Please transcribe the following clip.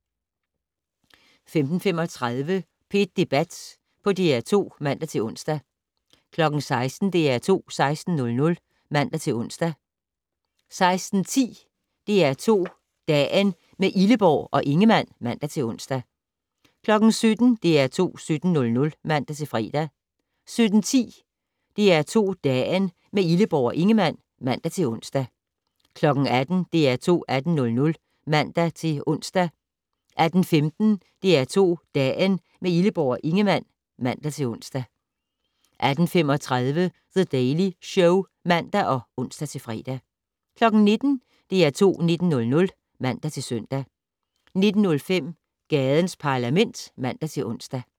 15:35: P1 Debat på DR2 (man-ons) 16:00: DR2 16:00 (man-ons) 16:10: DR2 Dagen - med Illeborg og Ingemann (man-ons) 17:00: DR2 17:00 (man-fre) 17:10: DR2 Dagen - med Illeborg og Ingemann (man-ons) 18:00: DR2 18:00 (man-ons) 18:15: DR2 Dagen - med Illeborg og Ingemann (man-ons) 18:35: The Daily Show (man og ons-fre) 19:00: DR2 19:00 (man-søn) 19:05: Gadens Parlament (man-ons)